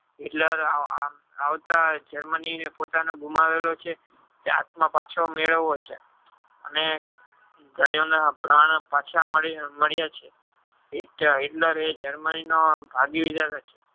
hitler આવતા germany પોતાને ગુમાવેલો છે પાછો મેલવોછે અને ગાયો ના પ્રાણ પાછા માળિયા છે Hitler એ germany ભોગિવર છે.